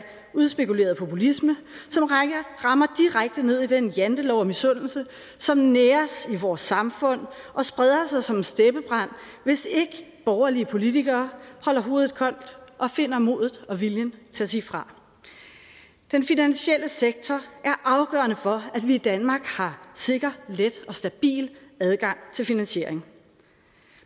udspekuleret populisme som rammer direkte ned i den jantelov af misundelse som næres i vores samfund og spreder sig som en steppebrand hvis ikke borgerlige politikere holder hovedet koldt og finder modet og viljen til at sige fra den finansielle sektor er afgørende for at vi i danmark har sikker let og stabil adgang til finansiering